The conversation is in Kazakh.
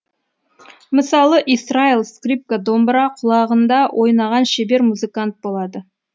мысалы исраил скрипка домбыра құлағында ойнаған шебер музыкант болады